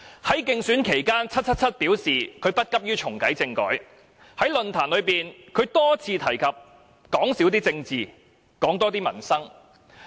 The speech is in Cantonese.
在競選期間 ，"777" 表示她不急於重啟政改；在選舉論壇上，她多次提及少談政治，多談民生。